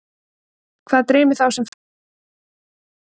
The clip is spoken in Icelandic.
hvað dreymir þá sem fæðast blindir